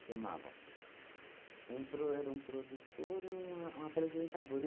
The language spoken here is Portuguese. um pro era um produtor e um a um apresentador.